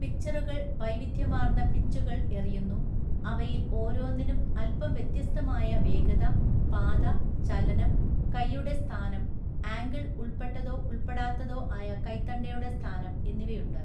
പിച്ചറുകൾ വൈവിധ്യമാർന്ന പിച്ചുകൾ എറിയുന്നു, അവയിൽ ഓരോന്നിനും അല്പം വ്യത്യസ്തമായ വേഗത, പാത, ചലനം, കൈയുടെ സ്ഥാനം, ആംഗിൾ ഉൾപ്പെട്ടതോ ഉൾപ്പെടാത്തതോ ആയ കൈത്തണ്ടയുടെ സ്ഥാനം എന്നിവയുണ്ട് .